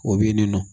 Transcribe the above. O bɛ yen nin nɔ